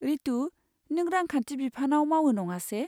रितु, नों रांखान्थि बिफानाव मावो नङासे?